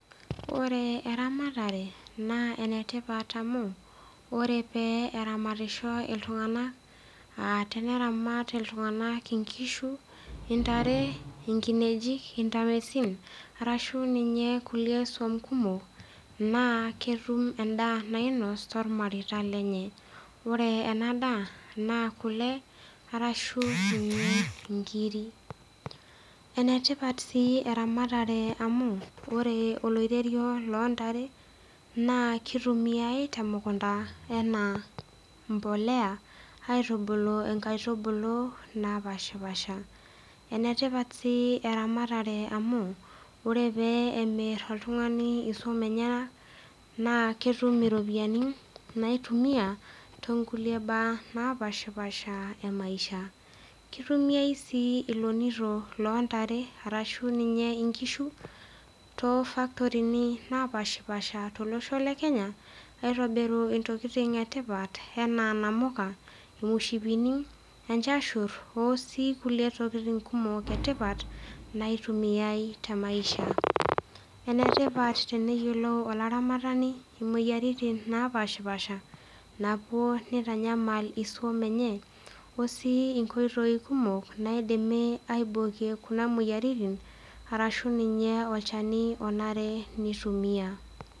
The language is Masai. Ore eramatare naa enatipat amu ore pee eramatisho iltunga temeramat iltung'ana enkishu, ntare, arashu ninye kulie suam kumok naa ketum endaa nainos too irmareita lenye ore ena daa ena kule arashu enkiri enetipat sii eramatare amu ore oloiterio loo ntare naa kitumiyiai tee munkunda enaa mbolea aitubulu nkaitubulu napashipasha enetipita sii eramatare amu ore pemir oltunga'ani esuam enyana naa ketum iropiani naitumia tonkulie mbaa napishapasha emaisha kitumiai sii elonito loo ntare arashu ninye nkishu too factory napishapasha tolosho le Kenya aitobiru ntokitin etipat ena namuka, emoshipini enjashur oo kulie tokitin etipat naitumiai tee maisha enetipat teneyiolou oloramatani imoyiaritin napashipasha napuo nitanyamal esuam enye oosie nkoitoi kumok naidimi aibokie Kuna moyiaritin arashu ninye olchani onare nitumia